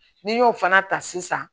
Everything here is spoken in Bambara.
N'i y'o fana ta sisan